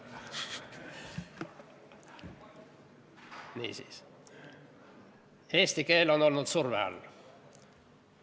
Niisiis, eesti keel on olnud surve all.